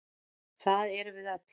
Það erum við öll.